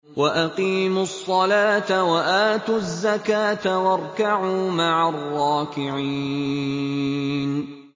وَأَقِيمُوا الصَّلَاةَ وَآتُوا الزَّكَاةَ وَارْكَعُوا مَعَ الرَّاكِعِينَ